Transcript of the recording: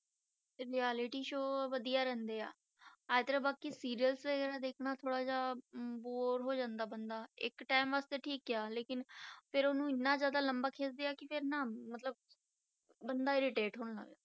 ਇਹ reality show ਵਧੀਆ ਰਹਿੰਦੇ ਆ, ਇਸ ਤਰ੍ਹਾਂ ਬਾਕੀ serails ਦੇਖਣਾ ਥੋੜ੍ਹਾ ਜਿਹਾ bore ਹੋ ਜਾਂਦਾ ਬੰਦਾ, ਇੱਕ time ਵਾਸਤੇ ਠੀਕ ਆ ਲੇਕਿੰਨ ਫਿਰ ਉਹਨੂੰ ਇੰਨਾ ਜ਼ਿਆਦਾ ਲੰਬਾ ਖਿੱਚਦੇ ਆ ਕਿ ਫਿਰ ਨਾ ਮਤਲਬ, ਬੰਦਾ irritate ਹੋਣ ਲੱਗ ਜਾਂਦਾ।